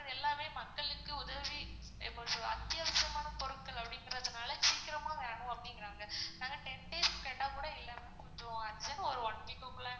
எல்லாமே மக்களுக்கு உதவி அத்தியவச பொருட்கள் அப்படிங்கறதுனால சீக்கிரமா வேணும் அப்படிங்குறாங்க, நாங்க ten days கேட்டா கூட இல்லனு சொல்லிருவாங்க, so அதனால ஒரு one week க்கு குள்ள